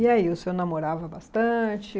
E aí, o senhor namorava bastante?